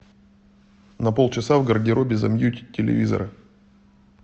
на полчаса в гардеробе замьють телевизора